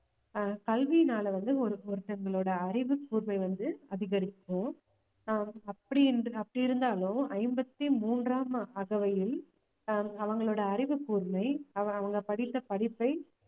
ஆஹ் கல்வியினால வந்து ஒரு~ ஒருத்தவங்களோட அறிவு கூர்மை வந்து அதிகரிக்கும் ஆஹ் அப்படி என்று அப்படி இருந்தாலும் ஐம்பத்தி மூன்றாம் அகவையில் ஆஹ் அவங்களோட அறிவுக்கூர்மை அவங்க படித்த படிப்பை